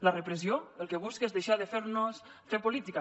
la repressió el que busca és deixar de fer nos fer política